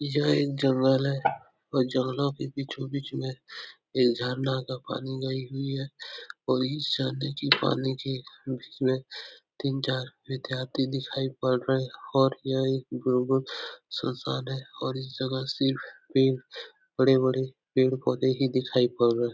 यह एक जगल है और जगल के बीचों-बीच में ये झरना का पानी गई हुई है और इस झरने की पानी के तीन चार विद्यार्थी दिखाई पड़ रहे और यह एक गुरुकुल संस्थान है और इस जगह से एक बड़े-बड़े पेड़ पौधे ही दिखाई पड़ रहे हैं।